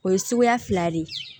O ye suguya fila de ye